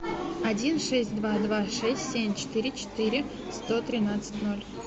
один шесть два два шесть семь четыре четыре сто тринадцать ноль